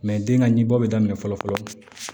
den ka ɲinbɔli daminɛ fɔlɔ fɔlɔ